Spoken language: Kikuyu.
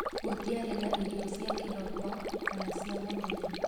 Gũtiari na irio cia kiroko kana cia mũthenya".